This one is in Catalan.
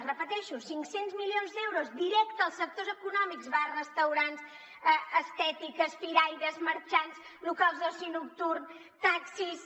ho repeteixo cinc cents milions d’euros directes als sectors econòmics bars restaurants estètiques firaires marxants locals d’oci nocturn taxis